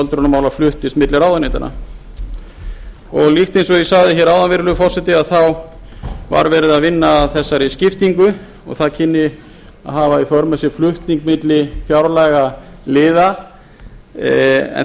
öldrunarmála fluttist milli ráðuneytanna líkt eins og ég sagði áðan virðulegi forseti þá var verið að vinna að þessari skiptingu og það kynni að hafa í för með sér flutning milli fjárlagaliða en